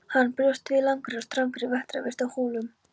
Hann bjóst við langri og strangri vetrarvist á Hólum.